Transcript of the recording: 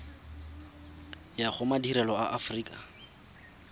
ya go madirelo a aforika